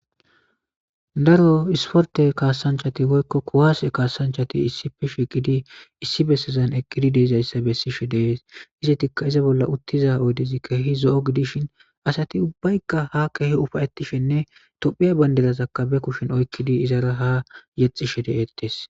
Daro isporte kasanchati woyko kuwase kasanchati issi besazan eqidi de'izaysa besishe dees. Izetika iza bolla uttiza oydezi keehi zo'o gidishin asayibubbayka uffayetishene tophiya badiraka ba kushen oykidi izara haa yexishe deetes